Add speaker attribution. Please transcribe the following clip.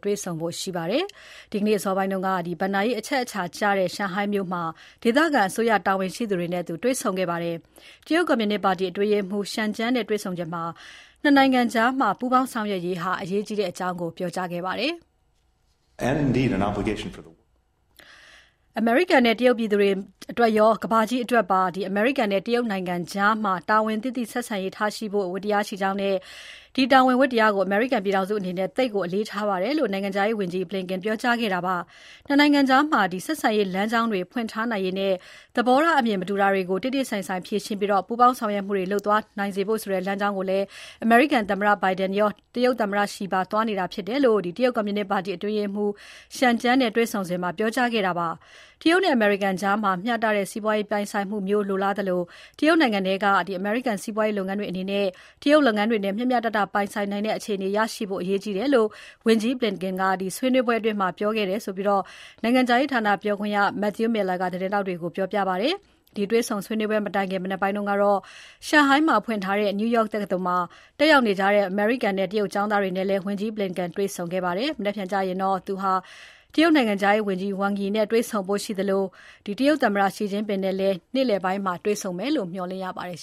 Speaker 1: တွေ့ဆုံဖို့ ရှိပါတယ်။ ဒီနေ့အစောပိုင်းကတော့ ဘဏ္ဍာရေးအရအချက်အခြာကျတဲ့ ရှန်ဟိုင်းမြို့မှာ ဒေသအစိုးရတာဝန်ရှိသူတွေနဲ့ တွေ့ဆုံခဲ့ပါတယ်။ တရုတ်ကွန်မြူနစ်ပါတီအတွင်းရေးမှူး Chen Jiang (ချန်ကျန်း) နဲ့တွေ့ဆုံစဉ် ၂ နိုင်ငံကြား ပူးပေါင်းဆက်ဆံရေးဟာ အရေးကြီးကြောင်း ပြောကြားခဲ့ပါတယ်။ "အမေရိကန်နဲ့ တရုတ်ပြည်သူတွေအတွက်ရော ကမ္ဘာကြီးအတွက်ပါ အမေရိကန်နဲ့ တရုတ်နိုင်ငံကြား တာဝန်သိသိဆက်ဆံရေးထားရှိဖို့ ဝတ္တရားရှိကြောင်းနဲ့ ဒီတာဝန် ဝတ္တရားကို အမေရိကန်ပြည်ထောင်စုအနေနဲ့ သိပ်ကို အလေးအနက်ထားပါတယ်" လို့ နိုင်ငံခြားရေးဝန်ကြီး Blinken ပြောကြားခဲ့တာဖြစ်ပါတယ်။ ၂ နိုင်ငံကြား ဆက်ဆံရေးလမ်းကြောင်းတွေ ဖွင့်ထားနိုင်ရေးနဲ့ သဘောထားအမြင် မတူတာတွေကို တေ့တေ့ဆိုင်ဆိုင် ဖြေရှင်းပြီး ပူးပေါင်းဆောင်ရွက်မှုတွေ လုပ်သွားနိုင်စေဖို့ဆိုတဲ့ လမ်းကြောင်းကို အမေရိကန်သမ္မတ Biden ရော တရုတ်သမ္မတ Xi ပါသွားနေတာြဖစ်ပါတယ်လို့ တရုတ်ကွန်မြူနစ်ပါတီ အတွင်းရေးမှူး Chen Jiang နဲ့တွေ့ဆုံစဉ်မှာ ပြောကြားခဲ့တာဖြစ်ပါတယ်။ တရုတ်နဲ့ အမေရိကန်ကြား မျှတတဲ့ စီးပွားပြိုင်ဆိုင်မှုမျိုးလိုလားသလို တရုတ်နိုင်ငံထဲက အမေရိကန်စီးပွားရေးလုပ်ငန်းတွေအနေနဲ့ တရုတ်လုပ်ငန်းတွေနဲ့ မျှမျှတတ ပြိုင်ဆိုင်နိုင်တဲ့ အခြေအနေရရှိဖို့ အရေးကြီးကြောင်း ဝန်ကြီး Blinken က ဆွေးနွေပွဲအတွင်း အလေးထား ပြောခဲ့တယ်လို့ နိုင်ငံခြားရေးဌာပြောခွင့်ရ Matthew Miller ကသတင်းထောက်တွေကို ပြောပါတယ်။ ဒီတွေ့ဆုံပွဲ မတိုင်ခင် မနက်ပိုင်းက ရှန်ဟိုင်းမှာဖွင့်ထားတဲ့ New York တက္ကသိုလ်မှာ တက်ရောက်နေကြတဲ့ အမေရိကန်နဲ့ တရုတ်ကျောင်းသားတွေနဲ့လည်း ဝန်ကြီး Blinken တွေ့ဆုံ ဆွေးနွေးပွဲလုပ်ခဲ့ပါတယ်။ မနက်ဖြန်ကျရင်တော့ ဝန်ကြီး Blinken ဟာ တရုတ်နိုင်ငံခြားရေးဝန်ကြီး Wang Yi နဲ့တွေ့ဆုံဖို့ ရှိသလို သမ္မတ Xi Jinping နဲ့လည်း သောကြာနေ့ နေ့လည်ပိုင်းမှာ တွေ့ဆုံမယ်လို့ မျှော်လင့်ရပါတယ်